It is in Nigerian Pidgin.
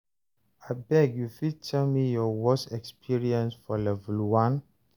abeg, you fit tell me your worse experience for level 1?